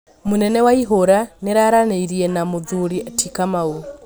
munene waihũra nĩararanĩirĩe na Mũthuri ti kamau